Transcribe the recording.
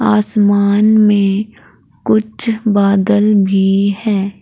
आसमान में कुछ बादल भी है।